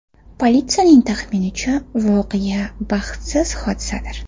Politsiyaning taxminicha, voqea baxtsiz hodisadir.